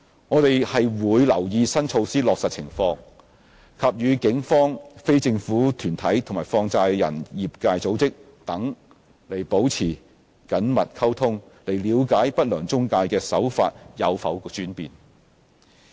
我們會留意新措施的落實情況，並與警方、非政府團體和放債人業界組織等保持緊密溝通，了解不良中介的手法有否轉變。